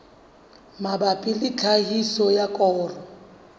mabapi le tlhahiso ya koro